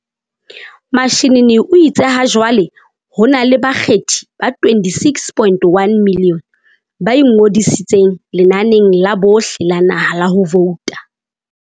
Mashinini o itse hajwale ho na le bakgethi ba 26.1 milione ba ingodisitseng lenaneng la bohle la naha la ho vouta.